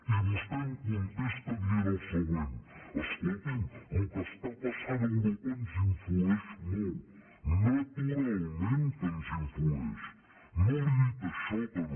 i vostè em contesta dient el següent escolti’m el que està passant a europa ens influeix molt naturalment que ens influeix no li he dit això que no